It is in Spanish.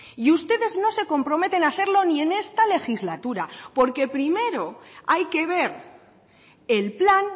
y ustedes no se comprometen a hacerlo ni en esta legislatura porque primero hay que ver el plan